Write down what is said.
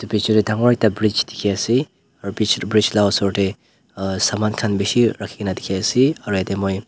bichae tae dangor ekta bridge dikhiase aru bichae tae bridge la osor tae saman khan bishi rakhikae na dikhiase aro yatae moi.